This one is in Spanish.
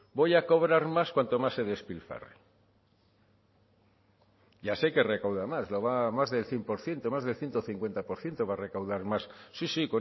voy a cobrar más cuanto más se despilfarre y así hay que recaudar más más del cien por ciento más del ciento cincuenta por ciento va a recaudar más sí sí